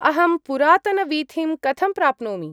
अहं पुरातनवीथिं कथं प्राप्नोमि।